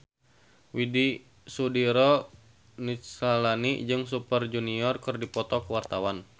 Widy Soediro Nichlany jeung Super Junior keur dipoto ku wartawan